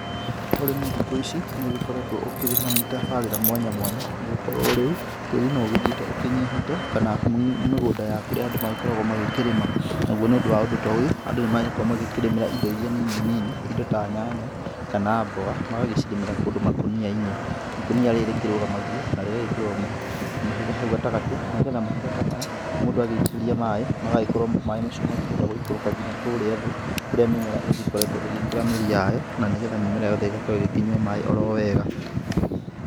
Ũrĩmi thikũ ici nĩ ũgĩkoretwo ũkĩrĩ na mĩtabarĩra mwanya mwanya, nĩgũkorwo rĩu tĩri no ũrathiĩ ũkĩnyihĩte ,kana mĩgũnda ya kũrĩa andũ magĩkoragwo magĩkĩrĩma, naguo nĩ ũndũ wa ũndũ ta ũyũ, andũ nĩ magĩkoragwo magĩkĩrĩmĩra indo iria nini nini indo ta nyanya, kana mboga, magagĩcirĩmĩra kũndũ makũnia-inĩ, ikũnia rĩrĩ rĩkĩrũgamagio na rĩgagĩkĩrwo mahiga hau gatagatĩ, nigetha mahiga ta maya, mũndũ agĩitĩrĩria maĩ magagĩkorwo maĩ macio makĩhota gũikũrũka nginya kũrĩa thĩ, kũrĩa mĩmera igĩkoretwo ĩgĩkĩra mĩri yayo na nĩgetha mĩmera yothe ĩgakorwo ĩgĩkĩnyua maĩ oro wega.